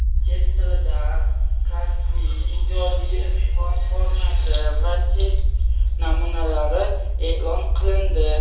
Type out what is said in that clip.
Chet tilidan kasbiy (ijodiy) imtihon formati va test namunalari eʼlon qilindi.